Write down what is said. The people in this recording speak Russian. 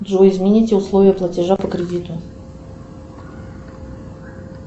джой измените условия платежа по кредиту